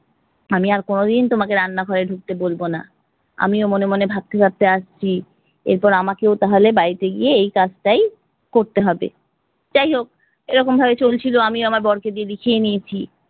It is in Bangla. আমি আর কোনোদিন তোমাকে রান্না ঘরে ঢুকতে বলব না। আমিও মনে মনে ভাবতে ভাবতে আসছি এর পরে আমাকেও তাহলে বাড়িতে গিয়ে এই কাজ টাই করতে হবে। যাই হোক এরকম ভাবে চলছিল, আমিও আমার বরকে দিয়ে লিখিয়ে নিয়েছি।